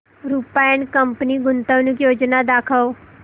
Rupa and company गुंतवणूक योजना दाखव